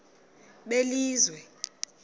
belizwe